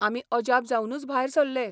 आमी अजाप जावनूच भायर सरले.